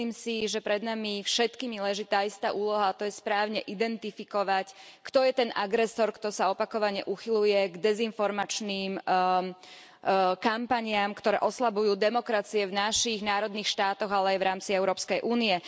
Myslím si, že pred nami všetkými leží tá istá úloha, a to je správne identifikovať, kto je ten agresor, kto sa opakovane uchyľuje k dezinformačným kampaniam, ktoré oslabujú demokracie v našich národných štátoch, ale aj v rámci Európskej únie.